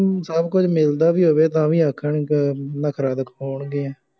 ਸਭ ਕੁੱਝ ਮਿਲਦਾ ਵੀ ਹੋਵੇ, ਤਾਂ ਵੀ ਆਂਖਣ ਗ ਨਖਰਾ ਦਿਖਾਉਗੀਆਂ